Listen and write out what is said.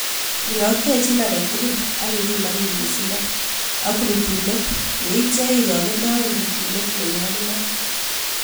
Ryoktechin agetukul ak ipiman nyikisindo ok rutunet yeityo irokendoen rutunet nenyolunot.